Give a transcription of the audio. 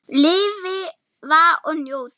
Lifa og njóta.